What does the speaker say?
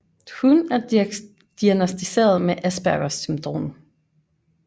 Hun er diagnosticeret med aspergers syndrom